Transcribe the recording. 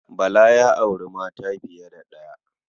Bala ya auri mata fiye da ɗaya.